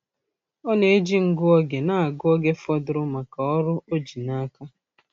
Ọ na-eji ngụ oge na-ahụ oge fọdụrụ maka ọrụ o ji n'aka.